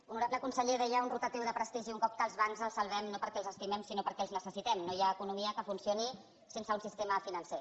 honorable conseller deia un rotatiu de prestigi un cop que els bancs els salvem no perquè els estimem sinó perquè els necessitem no hi ha economia que funcioni sense un sistema financer